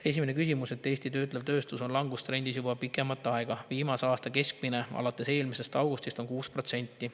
Esimene küsimus: "Eesti töötlev tööstus on langustrendis juba pikemat aega, viimase aasta keskmine alates eelmisest augustis on 6 protsenti.